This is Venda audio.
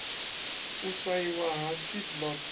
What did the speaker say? u swaiwa ha seed lot